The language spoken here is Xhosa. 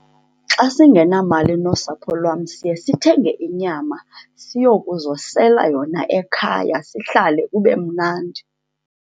Xa singenamali nosapho lwam siye sithenge inyama siyokuzosela yona ekhaya, sihlale kube mnandi.